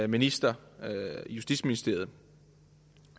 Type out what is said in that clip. minister i justitsministeriet